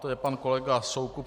To je pan kolega Soukup.